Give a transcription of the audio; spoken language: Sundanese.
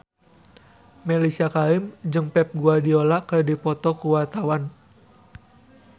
Mellisa Karim jeung Pep Guardiola keur dipoto ku wartawan